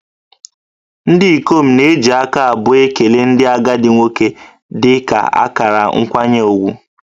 Ndị ikom na-eji aka abụọ ekele ndị agadi nwoke dị ka akara nkwanye ùgwù